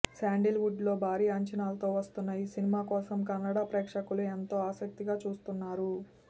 sandal would లో భారీ అంచనాలతో వస్తున్న ఈ సినిమాకోసం కన్నడ ప్రేక్షకులు ఎంతో ఆసక్తిగా చూస్తున్నారు